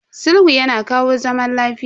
Sulhu yana kawo zaman lafiya.